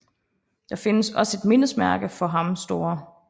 Der findes også et mindesmærke for ham St